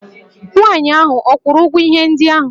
Nwaanyị ahụ ọ kwụrụ ụgwọ ihe ndị ahụ?